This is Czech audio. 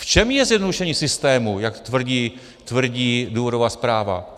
V čem je zjednodušení systému, jak tvrdí důvodová zpráva?